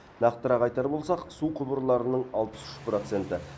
нақтырақ айтар болсақ су құбырларының алпыс үш проценті